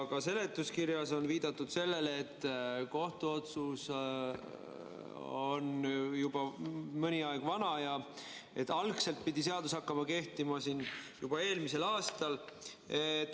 Ka seletuskirjas on viidatud sellele, et kohtuotsus on juba mõni aeg vana ja algselt pidi seadus hakkama kehtima eelmisel aastal.